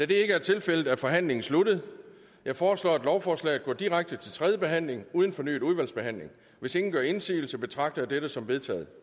det ikke er tilfældet er forhandlingen sluttet jeg foreslår at lovforslaget går direkte til tredje behandling uden fornyet udvalgsbehandling hvis ingen gør indsigelse betragter jeg dette som vedtaget